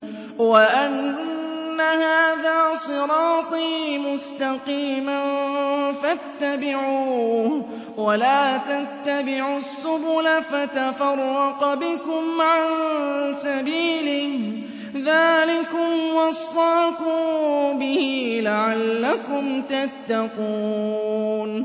وَأَنَّ هَٰذَا صِرَاطِي مُسْتَقِيمًا فَاتَّبِعُوهُ ۖ وَلَا تَتَّبِعُوا السُّبُلَ فَتَفَرَّقَ بِكُمْ عَن سَبِيلِهِ ۚ ذَٰلِكُمْ وَصَّاكُم بِهِ لَعَلَّكُمْ تَتَّقُونَ